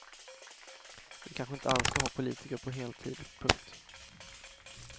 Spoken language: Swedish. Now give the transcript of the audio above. Vi kanske inte alls ska ha politiker på heltid. punkt